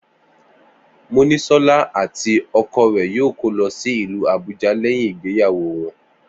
Monísó̩lá àti o̩ko̩ rè̩ yóò kó lo̩ sí ìlú Àbúja lé̩yìn ìgbéyàwó wo̩n